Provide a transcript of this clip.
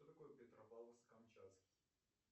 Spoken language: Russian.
что такое петропавловск камчатский